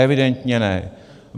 Evidentně ne.